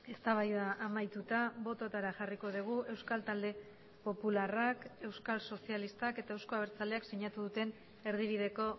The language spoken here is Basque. eztabaida amaituta bototara jarriko dugu euskal talde popularrak euskal sozialistak eta euzko abertzaleak sinatu duten erdibideko